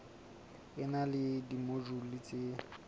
e na le dimojule tse